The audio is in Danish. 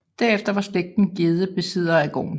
Derefter var slægten Gjedde besiddere af gården